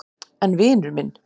En vinur minn.